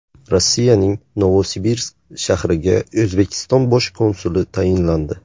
Rossiyaning Novosibirsk shahriga O‘zbekiston bosh konsuli tayinlandi.